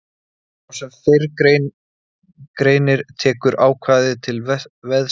Svo sem fyrr greinir tekur ákvæðið til veðsetningar, sölu eða annars framsals.